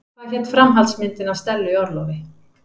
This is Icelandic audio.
Hvað hét framhaldsmyndin af Stellu í orlofi?